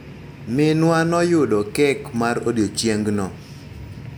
Minwa noyudo kek mar odiochengno.